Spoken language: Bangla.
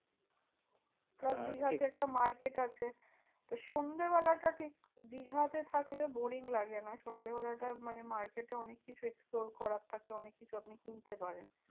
Plus দীঘাতে একটা market আছে তো সন্ধে বেলাটা ঠিক দীঘাতে থাকলে boring লাগে না। সন্ধে বেলাটা মানে market এ অনেক কিছু explore করা থাকে অনেক কিছু আপনি কিনতে পারেন।